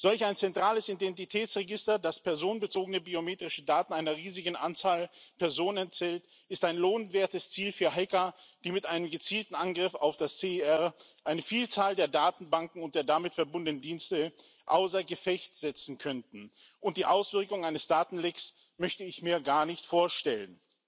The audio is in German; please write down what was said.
Solch ein zentrales Identitätsregister, das personenbezogene biometrische Daten einer riesigen Anzahl von Personen enthält, ist ein lohnenswertes Ziel für Hacker, die mit einem gezielten Angriff auf das CIR eine Vielzahl der Datenbanken und der damit verbundenen Dienste außer Gefecht setzen könnten, und die Auswirkung eines Datenlecks möchte ich mir gar nicht vorstellen.